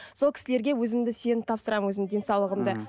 сол кісілерге өзімді сеніп тапсырамын өзімнің денсаулығымды